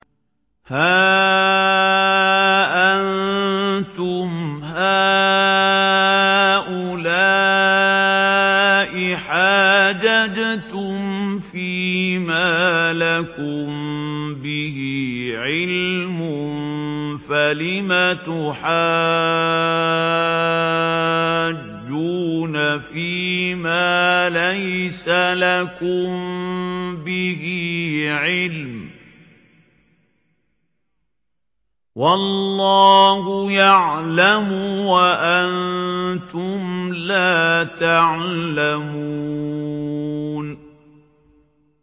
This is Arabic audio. هَا أَنتُمْ هَٰؤُلَاءِ حَاجَجْتُمْ فِيمَا لَكُم بِهِ عِلْمٌ فَلِمَ تُحَاجُّونَ فِيمَا لَيْسَ لَكُم بِهِ عِلْمٌ ۚ وَاللَّهُ يَعْلَمُ وَأَنتُمْ لَا تَعْلَمُونَ